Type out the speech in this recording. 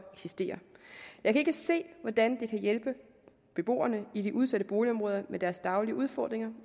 eksisterer jeg kan ikke se hvordan det kan hjælpe beboerne i de udsatte boligområder med deres daglige udfordringer